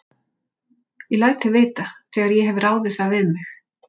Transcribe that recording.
Ég læt þig vita, þegar ég hef ráðið það við mig